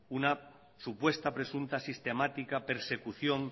una supuesta presunta sistemática persecución